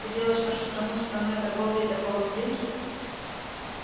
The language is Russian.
ты делаешь нашу страну страной торговли и торговых принцев